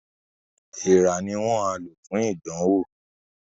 Èèrà ni wọ́n á lò fún ìdánwò